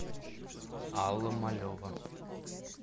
алла малева